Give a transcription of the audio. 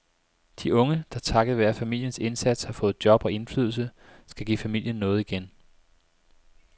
De unge, der takket være familiens indsats har fået job og indflydelse, skal give familien noget igen.